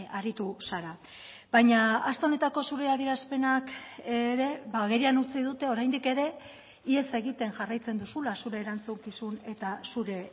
aritu zara baina aste honetako zure adierazpenak ere agerian utzi dute oraindik ere ihes egiten jarraitzen duzula zure erantzukizun eta zure